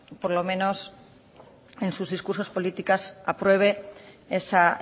por lo menos en sus discursos políticos apruebe esa